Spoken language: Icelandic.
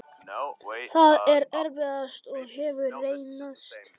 Það er erfiðast og hefur reynst tafsamt.